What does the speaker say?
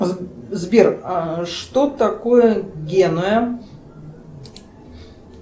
сбер что такое генуя